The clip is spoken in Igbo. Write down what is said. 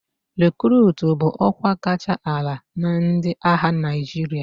Rekurutu bụ ọkwa kacha ala na ndị agha Naịjirịa.